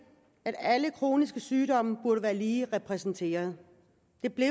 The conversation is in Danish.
at alle kroniske sygdomme burde være lige repræsenteret det blev